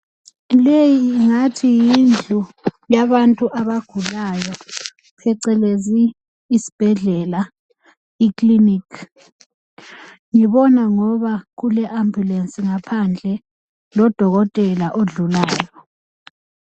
Leyi ingathi yindlu yabantu abagulayo, pecelezi isbhedlela, iklinikhi. Ngibona ngoba kule ambulensi ngaphandle lodokotela odlulayo.